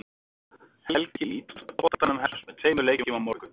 Helgin í ítalska boltanum hefst með tveimur leikjum á morgun.